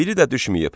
Biri də düşməyib.